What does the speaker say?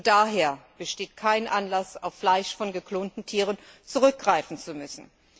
Schon daher besteht kein Anlass, auf Fleisch von geklonten Tieren zurückgreifen zu müssen.